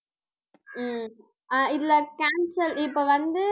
உம் அஹ் இதுல cancel இப்போ வந்து